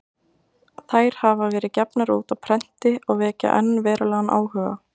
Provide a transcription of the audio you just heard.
þær hafa verið gefnar út á prenti og vekja enn verulegan áhuga